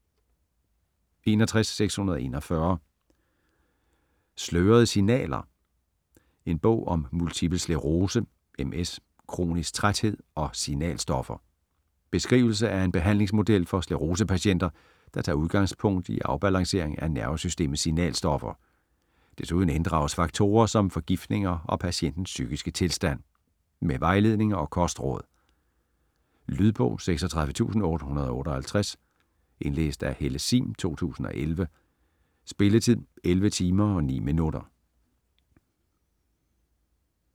61.641 Slørede signaler: en bog om multipel sclerose (MS), kronisk træthed og signalstoffer Beskrivelse af en behandlingsmodel for sklerosepatienter, der tager udgangspunkt i afbalancering af nervesystemets signalstoffer. Desuden inddrages faktorer som forgiftninger og patientens psykiske tilstand. Med vejledninger og kostråd. Lydbog 36858 Indlæst af Helle Sihm, 2011. Spilletid: 11 timer, 9 minutter.